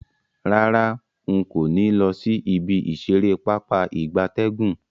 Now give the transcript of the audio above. Rara, nko ni lo si ibi isere Pápá ìgbatẹ́gùn.